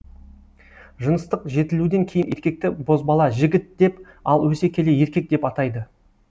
жыныстық жетілуден кейін еркекті бозбала жігіт деп ал өсе келе еркек деп атайды